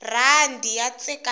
rhandi ya tsekatseka